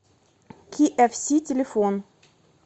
киэфси телефон